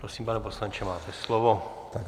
Prosím, pane poslanče, máte slovo.